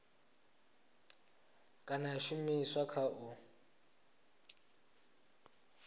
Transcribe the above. kana ya shumiswa kha u